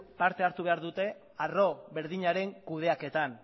parte hartu behar dute arro berdinaren kudeaketan